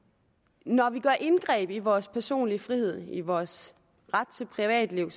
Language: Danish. når vi kommer indgreb i vores personlige frihed i vores ret til privatliv